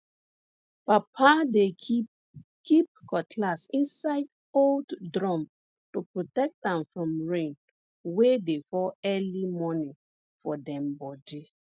papa dey keep keep cutlass inside old drum to protect am from rain wey dey fall early morning for dem bodi